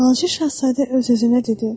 Balaca şahzadə öz-özünə dedi.